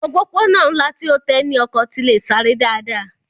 Òpópónà ńlá tí ó tẹ́ ní ọkọ̀ tí le sáré dáadáa